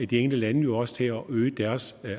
de enkelte lande jo også til at øge deres